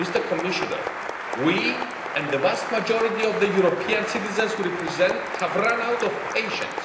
Commissioner, we and the vast majority of the European citizens we represent have run out of patience.